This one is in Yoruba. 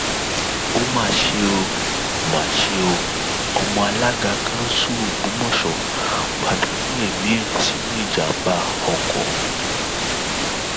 ó mà ṣe mà ṣe o ọmọ alága kansú ògbómọṣọ pàdánù ẹmí ẹ sínú ìjàḿbá oko